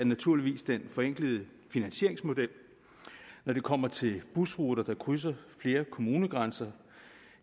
naturligvis den forenklede finansieringsmodel når det kommer til busruter der krydser flere kommunegrænser